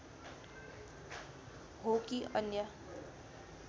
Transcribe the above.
हो कि अन्य